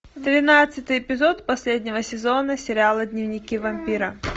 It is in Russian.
двенадцатый эпизод последнего сезона сериала дневники вампира